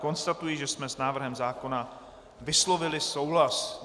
Konstatuji, že jsme s návrhem zákona vyslovili souhlas.